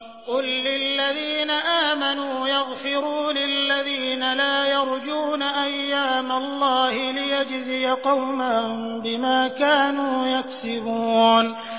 قُل لِّلَّذِينَ آمَنُوا يَغْفِرُوا لِلَّذِينَ لَا يَرْجُونَ أَيَّامَ اللَّهِ لِيَجْزِيَ قَوْمًا بِمَا كَانُوا يَكْسِبُونَ